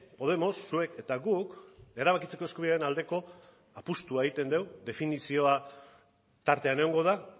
podemos zuek eta guk erabakitzeko eskubidea aldeko apustua egiten dugu definizioa tartean egongo da